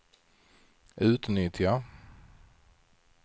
utnyttja